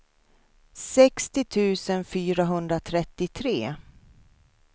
sextio tusen fyrahundratrettiotre